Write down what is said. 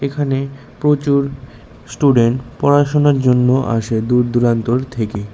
এখানে প্রচুর স্টুডেন্ট পড়াশুনার জন্য আসে দূরদুরান্তর থেকে।